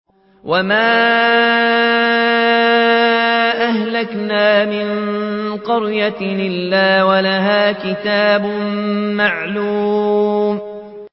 وَمَا أَهْلَكْنَا مِن قَرْيَةٍ إِلَّا وَلَهَا كِتَابٌ مَّعْلُومٌ